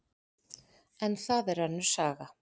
En það er önnur saga.